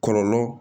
Kɔlɔlɔ